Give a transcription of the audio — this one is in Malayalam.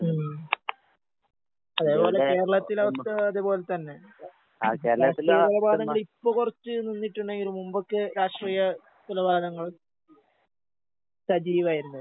ഉം. അതേപോലെ കേരളത്തിലെ അവസ്ഥയും അതേപോലെ തന്നെ. രാഷ്ട്രീയകൊലപാതകങ്ങളിപ്പോ കൊറച്ച് നിന്നിട്ടുണ്ടെങ്കിലും മുമ്പൊക്കെ രാഷ്ട്രീയ കൊലപാതകങ്ങള് സജീവായിരുന്നല്ലോ.